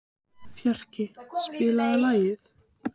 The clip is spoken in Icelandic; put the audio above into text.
Fjarki, spilaðu lag.